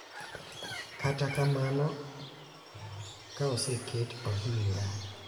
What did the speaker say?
Kata kamano, ka oseket ohinga, .